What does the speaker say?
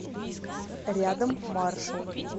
рядом маршал